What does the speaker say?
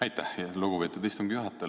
Aitäh, lugupeetud istungi juhataja!